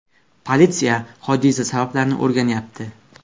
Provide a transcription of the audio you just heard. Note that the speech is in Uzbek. Politsiya hodisa sabablarini o‘rganyapti.